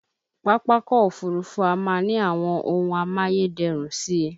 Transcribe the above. Pápákọ̀ Òfurufú á máa ní àwọn ohun amáyé dẹrùn si